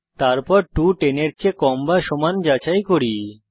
তারপর 2 10 এর চেয়ে কম বা সমান যাচাই করি